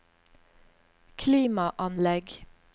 klimaanlegg